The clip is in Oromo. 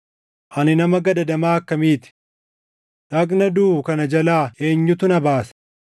Ani nama gadadamaa akkamii ti! Dhagna duʼu kana jalaa eenyutu na baasa?